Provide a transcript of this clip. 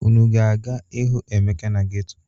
Unu ga-aga ịhụ Emeka na geto?